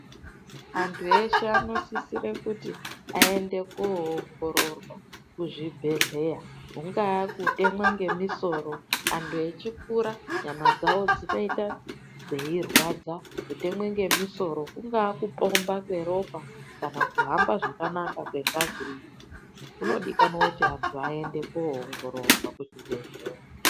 Antu eshe anosisire kuti aende koongororwa kuzvibhedhleya. Kungaa kutemwa ngemusoro, antu echikura, nyama dzawo dzinoita dzeirwadza. Kutemwe ngemisoro, kungaa kupomba kweropa kana kuhamba zvakanaka kwengazi, kunodikanwa kuti antu aende koongororwa kuzvibhedhleya.